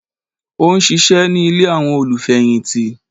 Ó n ṣíṣe ní Ilé àwọn olù fẹ̀yìntì